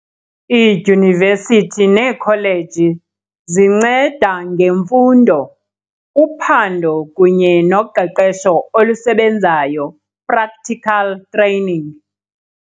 Iidyunivesithi neekholeji zinceda ngemfundo, uphando kunye noqeqesho olusebenzayo, practical training.